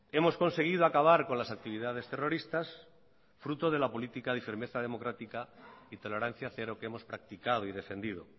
hemos conseguido acabar con las actividades terroristas fruto de la política y firmeza democrática y tolerancia cero que hemos practicado y defendido